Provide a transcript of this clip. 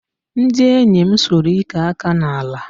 Ndị enyi m sụrụ ike aka n'ala